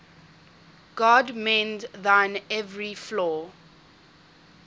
god mend thine every flaw